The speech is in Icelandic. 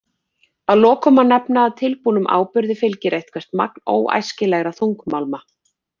Að lokum má nefna að tilbúnum áburði fylgir eitthvert magn óæskilegra þungmálma.